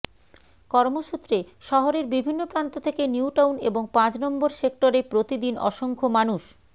কর্মসূত্রে শহরের বিভিন্ন প্রান্ত থেকে নিউ টাউন এবং পাঁচ নম্বর সেক্টরে প্রতি দিন অসংখ্য মানুষ